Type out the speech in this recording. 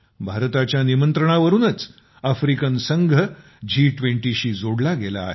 भारताच्या निमंत्रणावरूनच आफ्रिकन संघ जी २० शी जोडला गेला आहे